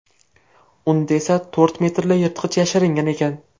Unda esa to‘rt metrli yirtqich yashiringan ekan.